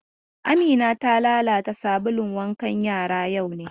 Amina ta lalata sabulun wankan yara yau ne?